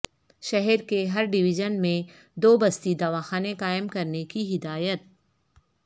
شہر کے ہر ڈیویژن میں دو بستی دواخانے قائم کرنے کی ہدایت